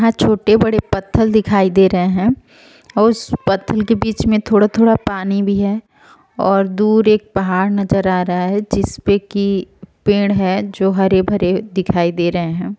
यहां छोटे बड़े पत्थल दिखाई दे रहे हैं। उस पत्थर के बीच में थोड़ा-थोड़ा पानी भी है और दूर एक पहाड़ नजर आ रहा है जिसपे कि पेड़ हैं जो हरे भरे दिखाई दे रहे हैं।